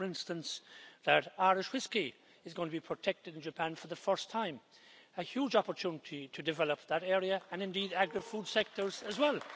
I know, for instance, that Irish whiskey is going to be protected in Japan for the first time a huge opportunity to develop that area, and indeed other agri food sectors as well.